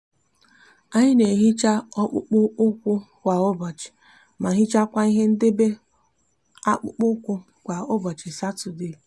anyi n'ehicha akpukpo ukwu kwa ubochi ma hichakwa ihe ndebe akpukpo ukwu kwa ubochi satode